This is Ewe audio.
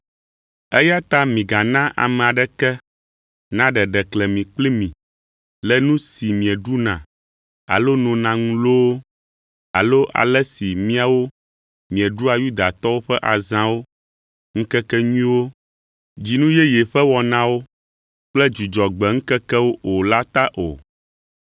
Eya ta migana ame aɖeke naɖe ɖeklemi kpli mi le nu si mieɖuna alo nona ŋu loo, alo ale si miawo mieɖua Yudatɔwo ƒe azãwo, ŋkekenyuiwo, dzinu yeye ƒe wɔnawo kple Dzudzɔgbe ŋkekewo o la ta o.